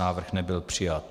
Návrh nebyl přijat.